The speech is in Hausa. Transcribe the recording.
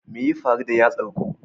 Me ya faru da yatsar ku?